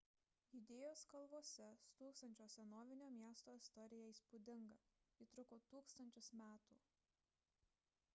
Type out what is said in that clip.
judėjos kalvose stūksančio senovinio miesto istorija įspūdinga ji truko tūkstančius metų